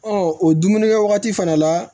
o dumunikɛ wagati fana la